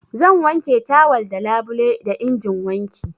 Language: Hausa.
Zan wanke tawal da labule da injin wanki.